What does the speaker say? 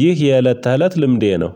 ይህ የእለት ተለት ልምዴ ነው።